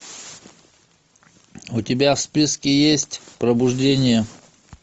у тебя в списке есть пробуждение